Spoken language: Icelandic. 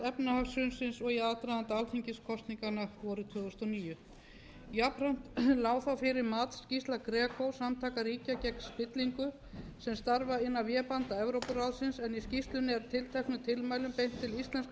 efnahagshrunsins og í aðdraganda alþingiskosninganna vorið tvö þúsund og níu jafnframt lá fyrir matsskýrsla greco samtaka ríkja gegn spillingu sem starfa innan vébanda evrópuráðsins en í skýrslunni er tilteknum tilmælum beint til íslenskra